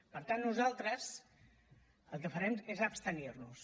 per tant nosaltres el que farem és abstenir nos